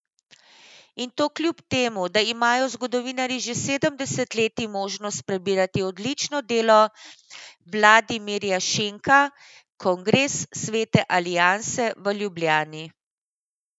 In to kljub temu, da imajo zgodovinarji že sedem desetletij možnost prebirati odlično delo Vladimirja Šenka Kongres Svete alianse v Ljubljani.